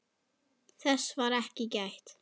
Þess var ekki gætt.